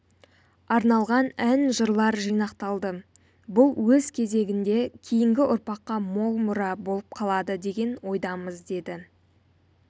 арналған ән-жырлар жинақталды бұл өз кезегінде кейінгі ұрпаққа мол мұра болып қалады деген ойдамыз деді